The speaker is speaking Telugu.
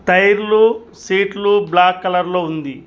టైర్లు సీట్లు బ్లాక్ కలర్ లో ఉంది.